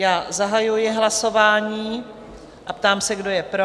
Já zahajuji hlasování a ptám se, kdo je pro?